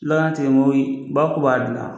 Laatimoyi ba ku b'a dilan